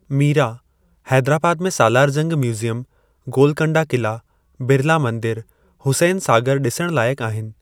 मीरां, हैदराबाद में Salar Jung museum, Golconda किला, बिरला मंदिर, हुसैन सागर डि॒सण लायकु आहिनि।